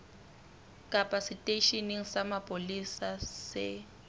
kapa seteisheneng sa mapolesa se